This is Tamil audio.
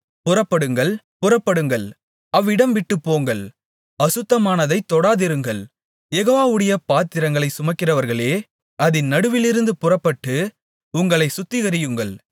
புறப்படுங்கள் புறப்படுங்கள் அவ்விடம்விட்டுப் போங்கள் அசுத்தமானதைத் தொடாதிருங்கள் யெகோவாவுடைய பாத்திரங்களைச் சுமக்கிறவர்களே அதின் நடுவிலிருந்து புறப்பட்டு உங்களைச் சுத்திகரியுங்கள்